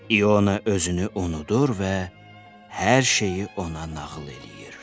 İona özünü unudur və hər şeyi ona nağıl eləyir.